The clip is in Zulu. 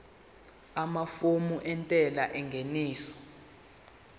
amafomu entela yengeniso